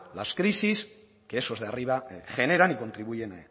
las crisis que esos de arriba generan y contribuyen